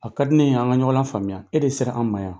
A ka di ne ye an ka ɲɔgɔn la faamuya e de sera an ma yan.